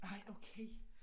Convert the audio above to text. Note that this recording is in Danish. Nej okay